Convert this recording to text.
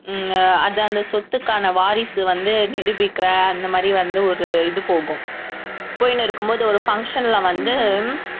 உம் அஹ் அது அந்த சொத்துக்கான வாரிசு வந்து நிரூபிக்கிற அந்த மாதிரி வந்து ஒரு இது போகும் போயினு இருக்கும்போது ஒரு function ல வந்து